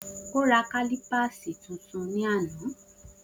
O rá kalípásí titun ní àná